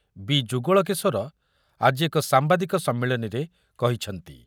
ବି. ଯୁଗଳକିଶୋର ଆଜି ଏକ ସାମ୍ବାଦିକ ସମ୍ମିଳନୀରେ କହିଛନ୍ତି ।